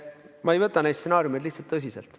Ma ei võta neid stsenaariumeid tõsiselt.